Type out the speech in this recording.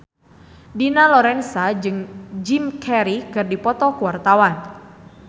Dina Lorenza jeung Jim Carey keur dipoto ku wartawan